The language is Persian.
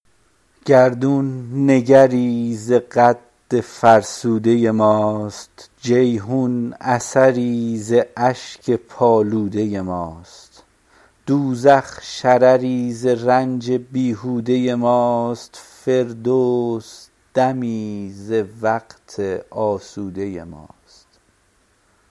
گردون نگری ز قد فرسوده ماست جیحون اثری ز اشک پالوده ماست دوزخ شرری ز رنج بیهوده ماست فردوس دمی ز وقت آسوده ماست